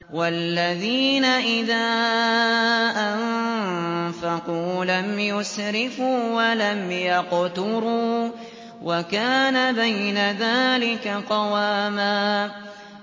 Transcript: وَالَّذِينَ إِذَا أَنفَقُوا لَمْ يُسْرِفُوا وَلَمْ يَقْتُرُوا وَكَانَ بَيْنَ ذَٰلِكَ قَوَامًا